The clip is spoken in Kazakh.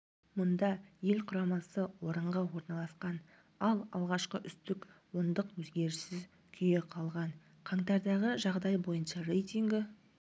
мұнда ел құрамасы орынға орналасқан ал алғашқы үздік ондық өзгеріссіз күйі қалған қаңтардағы жағдай бойынша рейтингі